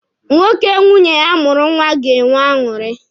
Nwoke nwunye ya mụrụ nwa ga-enwe aṅụrị.